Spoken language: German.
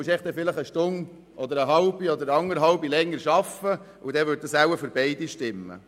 Sie müssen dann einfach eine Stunde oder eine halbe Stunde oder anderthalb Stunden länger arbeiten, so würde es für beide stimmen.